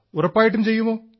ഉറപ്പായിട്ടും ചെയ്യുമോ